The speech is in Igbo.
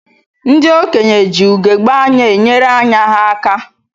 Ndị okenye ji ugegbe anya enyere ányá ha aka.